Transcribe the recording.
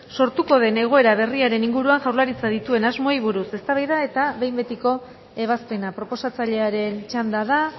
sortuko den egoera berriaren inguruan jaurlaritzak dituen asmoei buruz eztabaida eta behin betiko ebazpena proposatzailearen txanda da